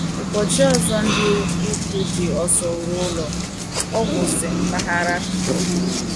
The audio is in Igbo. Ụbọchị ọzọ, ndị ikwu ji ọsọ ruo ụlọ ọgwụ si mpaghara Kobe.